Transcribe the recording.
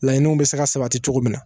Laɲiniw bɛ se ka sabati cogo min na